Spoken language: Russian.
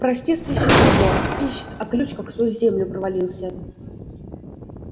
простец ищет его ищет а ключ как сквозь землю провалился